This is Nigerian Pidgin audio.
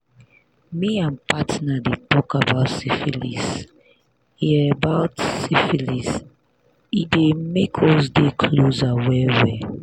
me and partner dey talk about syphilis e about syphilis e dey make us dey closer well well